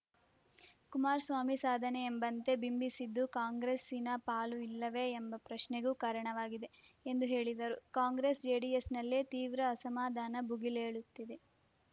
ಕುಮಾರಸ್ವಾಮಿ ಸಾಧನೆಯೆಂಬಂತೆ ಬಿಂಬಿಸಿದ್ದು ಕಾಂಗ್ರೆಸ್ಸಿನ ಪಾಲು ಇಲ್ಲವೇ ಎಂಬ ಪ್ರಶ್ನೆಗೂ ಕಾರಣವಾಗಿದೆ ಎಂದು ಹೇಳಿದರು ಕಾಂಗ್ರೆಸ್‌ಜೆಡಿಎಸ್‌ನಲ್ಲೇ ತೀವ್ರ ಅಸಮಾಧಾನ ಭುಗಿಲೇಳುತ್ತಿದೆ